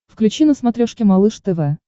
включи на смотрешке малыш тв